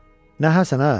Nə Həsən ə?